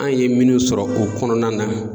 An ye minnu sɔrɔ o kɔnɔna na